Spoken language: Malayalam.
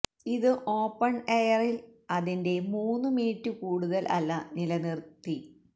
ഇത് ഓപ്പൺ എയർ ൽ അതിന്റെ മൂന്നു മിനിറ്റ് കൂടുതൽ അല്ല നിലനിർത്തി